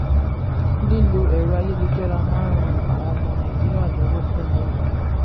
lílò ẹ̀rọ ayélujára máa ń ràn àwọn ọmọ nàìjíríà lọ́wọ́ pẹ̀lú àbáyọ.